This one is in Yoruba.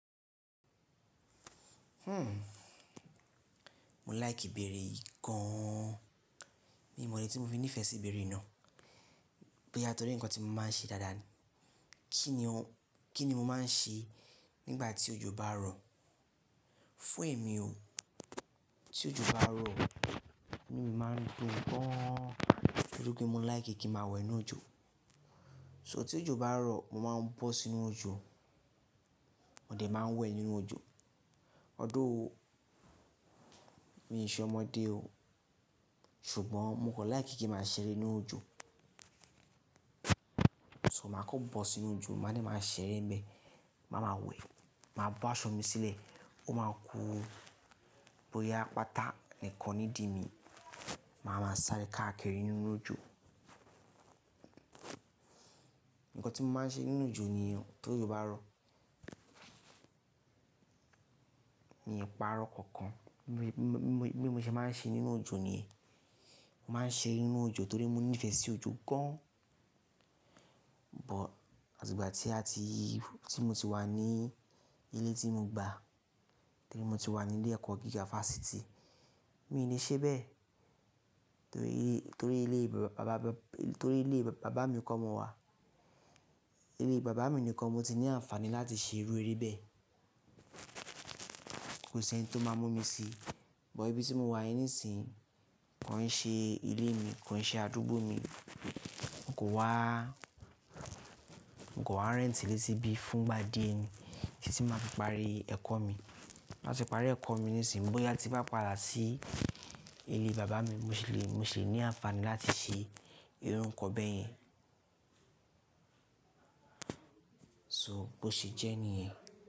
Mo like ìbéèrè yìí gan. Mi ò mọ̀ ọ́n tí mo fi nífẹ̀ẹ́ sí ìbéèrè náà. Bó yá tó rí ǹkan tí mo máa ń ṣe dáadáa ni. Kí ni mo máa ń ṣe nígbà tí òjò bá rọ̀? Fún ẹ̀ mi ò, tí òjò bá rọ̀, inú mí má n dún gaan. Nítorí pé mo like kí màá wẹ̀ nínú òjò. So tí òjò bá rọ̀, mo máa ń bọ́ sínú òjò, mo de máa ń wẹ̀ nínú òjò. Although, mi ò ṣe ọmọdé o. Ṣùgbọ́n mo kàn like kí màá ṣeré nínú òjò. So màá kàn bọ́ sínú òjò, màá dẹ màá ṣeré n bẹ, màá ma wẹ̀, màá bọ́ aṣọ mi sílẹ̀, ó máa ku. Bí ó bá yá pátá nìkan nídìí mi, màá ma sáré káàkiri nínú òjò. Ǹkan tí mo máa ń ṣe nínú òjò nìyẹn tó òjò bá rọ̀. Mí pa'rọ̀ kankan. Bí mo ṣe máa ń ṣe nínú òjò nìyẹn. Mo máa ń ṣeré nínú òjò torí mo nífẹ̀ẹ́ sí òjò gan. But àti ìgbà tí a ti, tí mo ti wá ní ilé tí mo gbà, torí mo ti wà ní ilé ẹ̀kọ́ gíga fásitì, mi ò le ṣe bẹ́ẹ̀. Torí ilé bàbá mi kọ́ mo wà. Ilé bàbá mi nìkan mo ti ní àǹfààní láti ṣe irú eré bẹ́ẹ̀. Kò sí ẹni tó máa mú mi si. But ibi tí mo wà yí nísinsìnyí kò ń ṣe ilé mi, kò ń ṣe àdúgbò mi. Mo kò wá, mo kò wáa rẹ́ntì ilé síbi fún ìgbà díẹ̀ ni. Kì í sì má fi parí ẹ̀kọ́ mi. Láti parí ẹ̀kọ́ mi nísinsìnyí, bóyá tí bá padà sí ilé bàbá mi, mo ṣì le ní àǹfààní láti ṣe irú nǹkan bẹ́ẹ̀ yẹn. So bó ṣe jẹ́ nìyẹn.